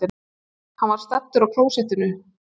Hann var staddur á klósettinu.